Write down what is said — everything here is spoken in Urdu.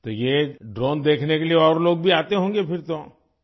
تو یہ ڈرون دیکھنے کے لیے اور لوگ بھی آتے ہوں گے پھر تو ؟